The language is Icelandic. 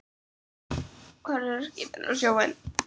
Horfir á skipin og sjóinn.